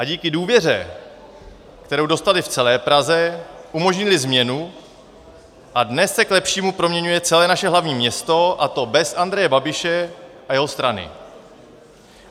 A díky důvěře, kterou dostali v celé Praze, umožnili změnu a dnes se k lepšímu proměňuje celé naše hlavní město, a to bez Andreje Babiše a jeho strany.